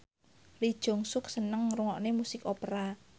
Lee Jeong Suk seneng ngrungokne musik opera